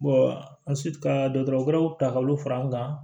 an sitan dɔgɔtɔrɔw ta k'olu fara an kan